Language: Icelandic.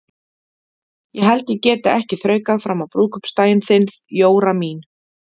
Ég held ég geti ekki þraukað fram á brúðkaupsdaginn þinn, Jóra mín.